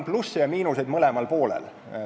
Plusse ja miinuseid on mõlemal poolel.